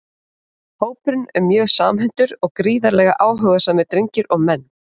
Hópurinn er mjög samhentur og gríðarlega áhugasamir drengir og menn!